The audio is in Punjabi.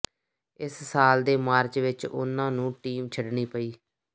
ਇਸ ਸਾਲ ਦੇ ਮਾਰਚ ਵਿਚ ਉਨ੍ਹਾਂ ਨੂੰ ਟੀਮ ਛੱਡਣੀ ਪਈ